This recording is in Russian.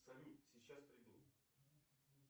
салют сейчас приду